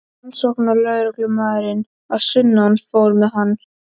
Rannsóknarlögreglumaðurinn að sunnan fór með hann.